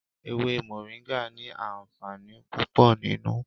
Ewé moringa ni àǹfààní púpò nínú.